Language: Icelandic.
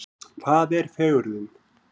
Hvað er fegurðin?